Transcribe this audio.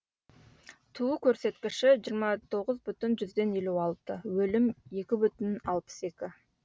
туу көрсіткіші жиырма тоғыз бүтін жүзден елу алты өлім екі бүтін алпыс екі